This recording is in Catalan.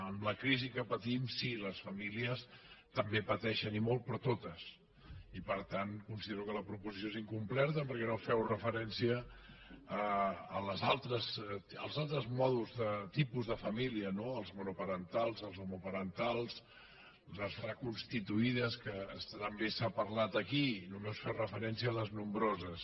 amb la crisi que patim sí les famílies també pateixen i molt però totes i per tant considero que la proposició és in·completa perquè no feu referència als altres tipus de família no les monoparentals les homoparentals les reconstituïdes que també s’ha parlat aquí no·més feu referència a les nombroses